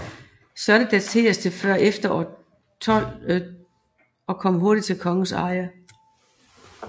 Slottet dateres til før år 1200 og kom hurtigt i kongens eje